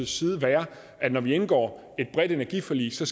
side være at når vi indgår et bredt energiforlig skal